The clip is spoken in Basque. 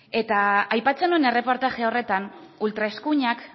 eta aipatzen nuen erreportaje horretan ultraeskuinak